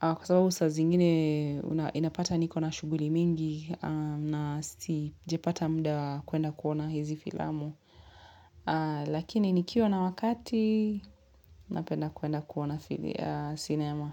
kwa sababu saa zingine inapata niko na shughuli mingi na sijapata muda kuenda kuona hizi filamu. Lakini nikiwa na wakati napenda kuenda kuona sinema.